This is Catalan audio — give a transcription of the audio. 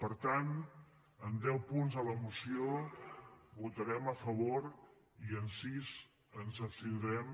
per tant en deu punts a la moció votarem a favor i en sis ens abstindrem